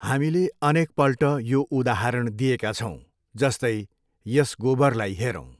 हामीले अनेकपल्ट यो उदाहरण दिएका छौँ, जस्तै, यस गोबरलाई हेरौँ।